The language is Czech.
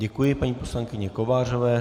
Děkuji paní poslankyni Kovářové.